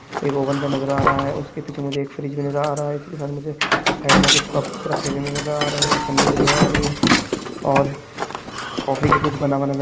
एक ओवन का नजर आ रहा है और उसके पिछे मुझे एक फ्रीज भी नजर आ रहा है उसके साथ मुझे साइड कुछ कप्स रखे भी नजर आ रहे है एक छ्न्नी भी नजर आ रही है और कॉफी की कुछ बना--